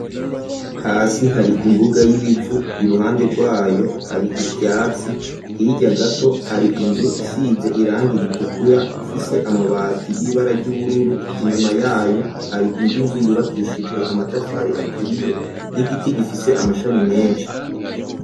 Hasi hari imbuga y'ibivu iruhande rwayo hari ivyatsi hirya gato gato hari inzu isize iranga ritukura ifise amabati y'ibara ry'ubururu, inyuma yayo hari iyindi nzu yubakishijwe amatafari aturiye n'igiti gifise amashami menshi.